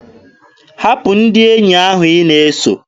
Hapụ ndị enyi ahụ ị na-eso!